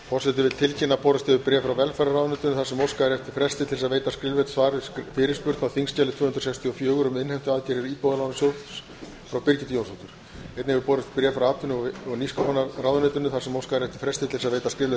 forseti vill tilkynna að borist hefur bréf frá velferðarráðuneytinu þar sem óskað er eftir fresti til að veita skriflegt svar við fyrirspurn á þingskjali tvö hundruð sextíu og fjögur um innheimtuaðgerðir íbúðalánasjóðs frá birgittu jónsdóttur einnig hefur borist bréf frá atvinnuvega og nýsköpunarráðuneytinu þar sem óskað er eftir fresti til að veita skriflegt